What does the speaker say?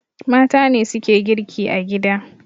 Mata ne suke girki a gida